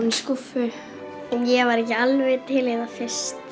skúffu ég var ekki alveg til í það fyrst